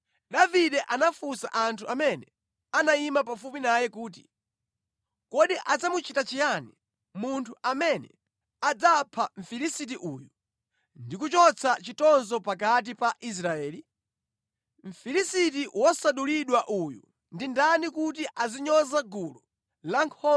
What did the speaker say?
Davide anafunsa anthu amene anayima pafupi naye kuti, “Kodi adzamuchita chiyani munthu amene adzapha Mfilisiti uyu ndi kuchotsa chitonzo pakati pa Israeli? Mfilisiti wosachita mdulidweyu ndi ndani kuti azinyoza gulu lankhondo la Mulungu wamoyo?”